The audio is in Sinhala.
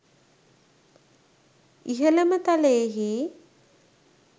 ඉහළම තලයෙහි